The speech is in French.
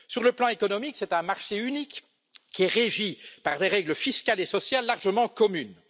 sur le plan économique, c'est un marché unique régi par des règles fiscales et sociales largement communes.